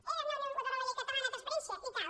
era innovadora la llei catalana de transparència i tal